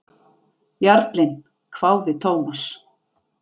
Jarlinn? hváði Thomas.